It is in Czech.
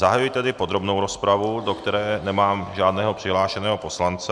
Zahajuji tedy podrobnou rozpravu, do které nemám žádného přihlášeného poslance.